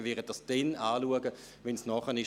Wir werden uns damit befassen, sobald es ansteht.